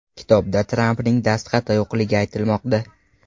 Kitobda Trampning dastxati yo‘qligi aytilmoqda.